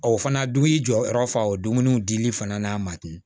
Ɔ fana dun y'i jɔyɔrɔ fa o dumuni dili fana n'a ma ten